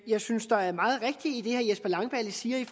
jeg synes der er meget rigtigt i det herre jesper langballe siger